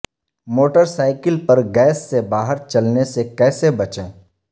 motor cycle پر gas سے باہر چلنے سے کیسے بچیں